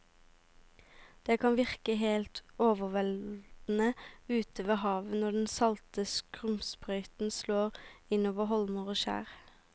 Det kan virke helt overveldende ute ved havet når den salte skumsprøyten slår innover holmer og skjær.